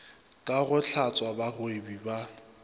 ka go hlatswa bagwebi ba